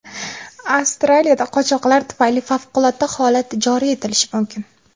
Avstriyada qochoqlar tufayli favqulodda holat joriy etilishi mumkin.